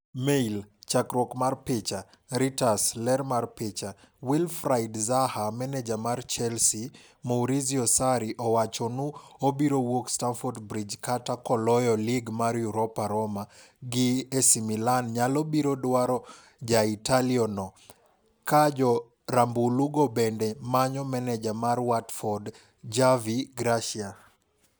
(Mail) Chakruok mar picha, Reuters. Ler mar picha, Wilfried Zaha Maneja mar Chelsea, Maurizio Sarri owacho nu obiro wuok Stamford Bridge kata koloyo lig mar Europa- Roma gi AC Milan nyalo biro dwaro ja Italio no, ka jo rambulu go bende manyo maneja mar Watford Javi Gracia.